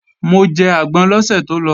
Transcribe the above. Mo jẹ àgbọn lọ́sẹ̀ tó lọ